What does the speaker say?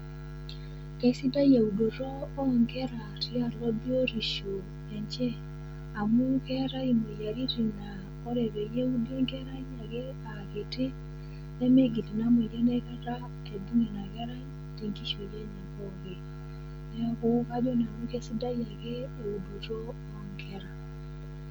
Kesidai eudoto o nkera tialo biotisho enye amu keetai imoyiaritin naa ore peyie eudi enkerai ake aa kiti nemigil ina moyian aikata aibung' ina kerai te nkishui enye pookin. Neeku ajo nanu kesidai ake eudoto o nkera.